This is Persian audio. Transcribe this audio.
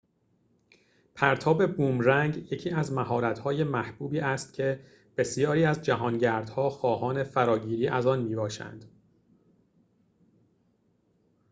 پرتاب بومرنگ یکی از مهارت‌های محبوبی است که بسیاری از جهانگردها خواهان فراگیری آن می‌باشند